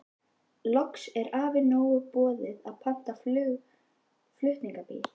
Loks er afa nóg boðið og pantar flutningabíl.